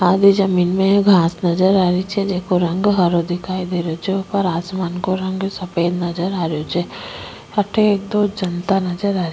आधे जमींन में घास नजर आरी छे जेको रंग हरो दिखाई दे रेहो छे ऊपर आसमान को रंग सफेद नजर आ रेहो छे अठे एक दो जनता नज़र आरी।